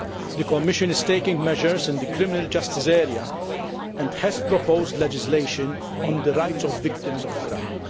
The Commission is taking measures in the criminal justice area and has proposed legislation on the rights of victims of crime.